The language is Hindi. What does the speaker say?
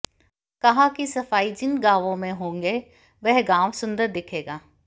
कहा कि सफाई जिन गांवों में होंगे वह गांव सुंदर दिखेगा